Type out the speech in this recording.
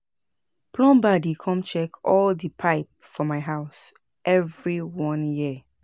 Plumber dey come check all di pipe for my house every one year.